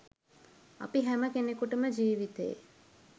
අපි හැම කෙනෙකුටම ජීවිතේ